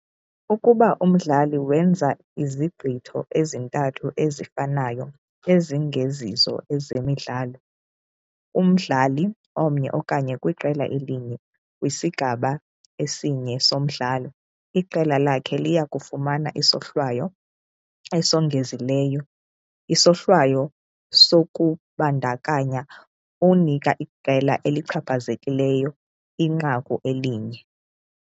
Ukuba umdlali wenza izigqitho ezintathu ezifanayo ezingezizo ezemidlalo, umdlali omnye okanye kwiqela elinye kwisigaba esinye somdlalo iqela lakhe liya kufumana isohlwayo esongezileyo, isohlwayo sokubandakanya unika iqela elichaphazekileyo inqaku elinye.